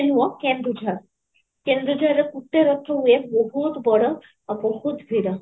ନୁହଁ କେଡୁଝଡ଼, କେନ୍ଦୁଝଡ଼ ରେ ଗୋଟେ ରଥ ହୁଏ ବହୁତ ବଡ଼ ଆଉ ବହୁତ ଭିଡ଼